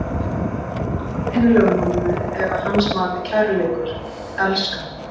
Og andinn í lögmálinu er að hans mati kærleikur, elska.